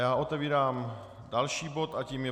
Já otevírám další bod a tím je